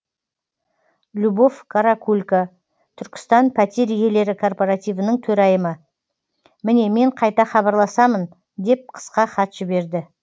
любовь каракулько түркістан пәтер иелері кооперативінің төрайымы міне мен қайта хабарласамын деп қысқа хат жіберді